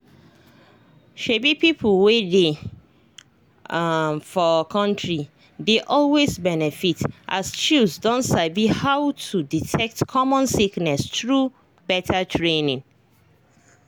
um people wey dey um for country dey always benefit as chws don sabi how to detect common sickness through better training.